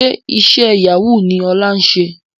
Ṣe iṣẹ́ Yahoo ni Ọlá ń ṣe?